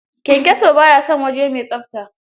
Kyanyaso ba ya son waje mai tsafta